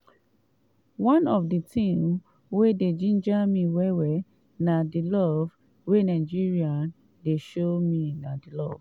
one of di tins wey dey ginger me well well na di love wey nigerians dey show me na di love